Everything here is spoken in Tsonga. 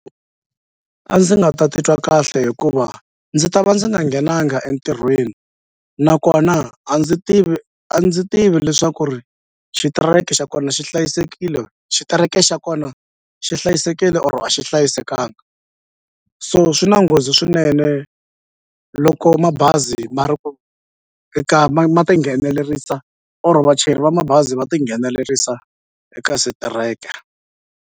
A ndzi nga ta titwa kahle hikuva ndzi ta va ndzi nga nghenanga entirhweni nakona a ndzi tivi a ndzi tivi leswaku ri xitereke xa kona xi hlayisekile xitereke xa kona xi hlayisekile or a xi hlayisekanga so swi na nghozi swinene loko mabazi ma ri ku eka ma ma tinghenelerisa or vachayeri va mabazi va tinghenelerisa eka switereka.